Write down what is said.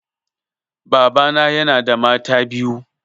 Baba na yana da mata biyu.